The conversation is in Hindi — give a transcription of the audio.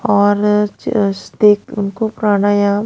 और अ आ स देख उनको प्राणायाम--